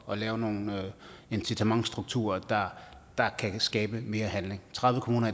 at lave nogle incitamentsstrukturer der kan skabe mere handling tredive kommuner